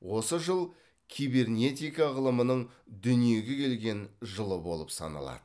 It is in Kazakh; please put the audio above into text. осы жыл кибернетика ғылымының дүниеге келген жылы болып саналады